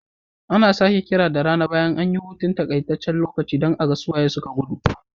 Ana sake kira da rana bayan an yi hutu takaitacce don a ga su waye suka gudu.